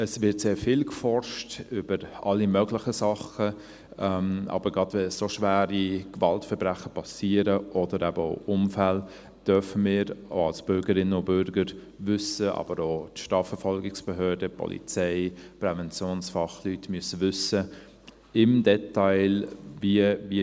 Es wird sehr viel geforscht über alle möglichen Sachen, aber gerade, wenn so schwere Gewaltverbrechen oder eben auch Unfälle geschehen, dürfen wir als Bürgerinnen und Bürger wissen, aber auch die Strafverfolgungsbehörden, die Polizei, Präventionsfachleute müssen im Detail wissen: